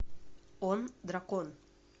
он дракон